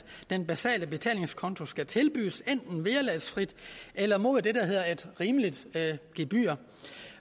den basale betalingskonto skal tilbydes enten vederlagsfrit eller mod det der hedder et rimeligt gebyr